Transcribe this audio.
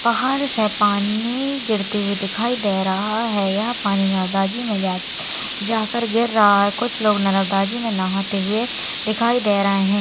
पहाड़ से पानी गिरते हुए दिखाई दे रहा है यह पानी ना ओ गाजी मे जाके जाकर गिर रहा है कुछ लोग न-न-ताजी मे नहाते हुए दिखाई दे रहे है।